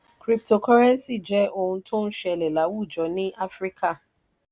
crypotocurrency jẹ ohun tó ń ṣẹlẹ̀ láwùjọ ní áfíríkà.